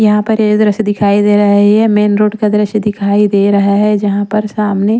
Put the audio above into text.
यहाँ पर ये दृश्य दिखाई दे रहा है ये मेन रोड का दृश्य दिखाई दे रहा है जहाँ पर सामने--